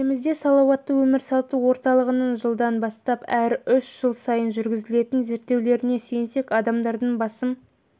елімізде салауатты өмір салты орталығының жылдан бастап әр үш жыл сайын жүргізген зерттеулеріне сүйенсек адамдардың басым